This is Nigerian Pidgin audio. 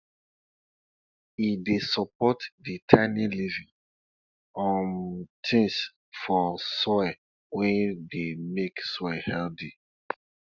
e dey support di tiny living um things for soil wey dey make soil healthy